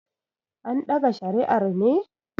andaga shariar ne?